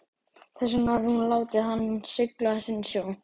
Þess vegna hafði hún látið hann sigla sinn sjó.